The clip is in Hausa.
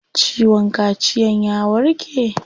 Ciwon kaciyan ya warke?